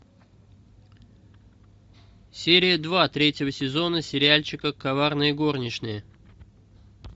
серия два третьего сезона сериальчика коварные горничные